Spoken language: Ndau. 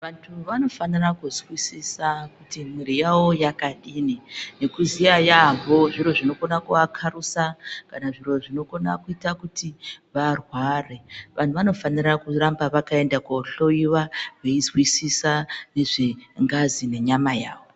Vantu vanofanira kuzwisisa kuti mwiri yavo yakadini, nekuziya yaambo zviro zvinokona kuakarusa, kana zviro zvinokona kuita kuti varware. Vanhu vanofanira kuramba vakaenda kohloiwa veizwisisa nezve ngazi nenyama yavo.